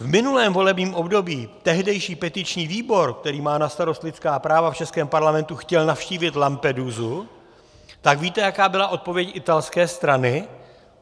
v minulém volebním období tehdejší petiční výbor, který má na starosti lidská práva v českém parlamentu, chtěl navštívit Lampedusu, tak víte, jaká byla odpověď italské strany?